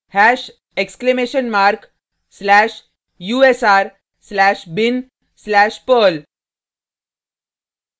hash exclamation mark slash u s r slash bin slash perl